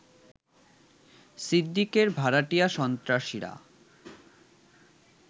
সিদ্দিকের ভাড়াটিয়া সন্ত্রাসীরা